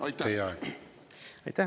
Aitäh!